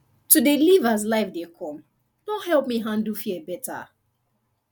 to dey live as life de come don help me handle fear better